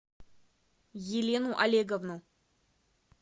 елену олеговну